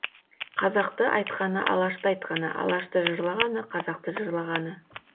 қазақты айтқаны алашты айтқаны алашты жырлағаны қазақты жырлағаны